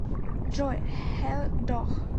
джой хэл дох